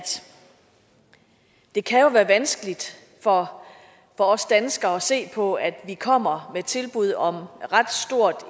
det jo kan være vanskeligt for os danskere at se på at vi kommer med et tilbud om ret stort